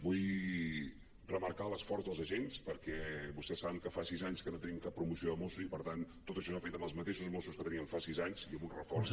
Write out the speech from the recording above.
vull remarcar l’esforç dels agents perquè vostès saben que fa sis anys que no tenim cap promoció de mossos i per tant tot això s’ha fet amb els mateixos mossos que teníem fa sis anys i amb un reforç